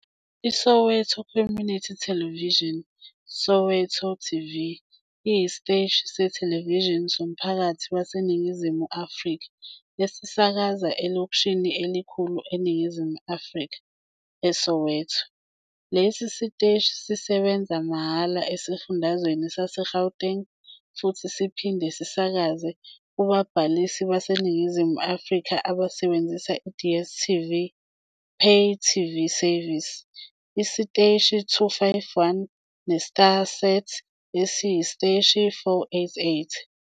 ISoweto Community Television, Soweto TV, iyisiteshi sethelevishini somphakathi waseNingizimu Afrika esisakaza elokishini elikhulu eNingizimu Afrika, eSoweto. Lesi siteshi sisebenza mahhala esifundazweni saseGauteng futhi siphinde sisakaze kubabhalisi baseNingizimu Afrika abasebenzisa i- DStv pay TV service esiteshini 251 neStarsat esiteshini 488.